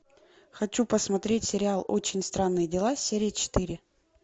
хочу посмотреть сериал очень странные дела серия четыре